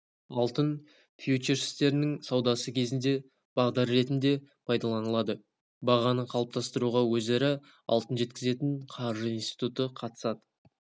алтын фьючерстерінің саудасы кезінде бағдар ретінде пайдаланылады бағаны қалыптастыруға өзара алтын жеткізетін қаржы институты қатысады